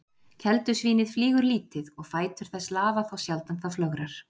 Keldusvínið flýgur lítið og fætur þess lafa þá sjaldan það flögrar.